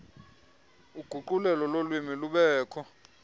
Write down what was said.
uguqulelo lolwimi lubekho